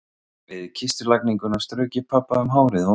Við kistulagninguna strauk ég pabba um hárið og vangann.